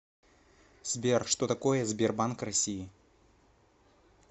сбер что такое сбербанк россии